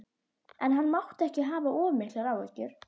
En hann mátti ekki hafa of miklar áhyggjur.